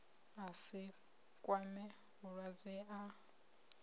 a si kwame mulwadze a